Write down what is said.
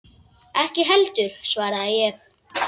Ég ekki heldur, svaraði ég.